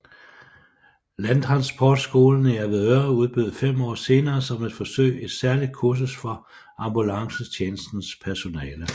Landtransportskolen i Avedøre udbød fem år senere som et forsøg et særligt kursus for ambulancetjenestens personale